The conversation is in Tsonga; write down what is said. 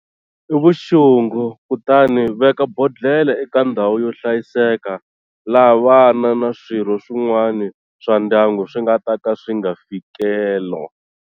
I vuxungu kutani veka bodlhela eka ndhawu yo hlayiseka laha vana na swirho swin'wana swa ndyangu swi nga ta ka swi nga fikelo.